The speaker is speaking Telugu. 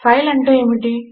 ఫైల్ అంటే ఏమిటి